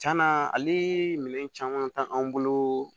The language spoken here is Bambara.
Cɛna ale minɛ caman t'anw bolo